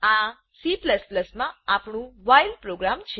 આ Cમાં આપણું વ્હાઇલ પ્રોગ્રામ છે